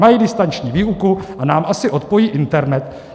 Mají distanční výuku a nám asi odpojí internet.